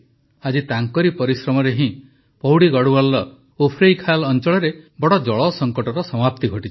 ଆଜି ତାଙ୍କର ପରିଶ୍ରମରେ ହିଁ ପୌଡ଼ି ଗଢ଼ୱାଲର ଉଫ୍ରୈଖାଲ୍ ଅଞ୍ଚଳରେ ବଡ଼ ଜଳ ସଙ୍କଟର ସମାପ୍ତି ଘଟିଛି